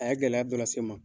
A ye gɛlɛya dɔ lase n ma.